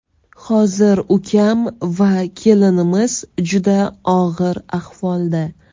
Hozir ukam va kelinimiz juda og‘ir ahvolda.